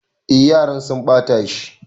E, yaran sun ɓata shi.